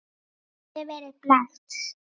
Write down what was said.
Þið hafið verið blekkt.